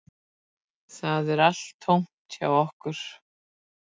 Það er allt tómt hjá okkur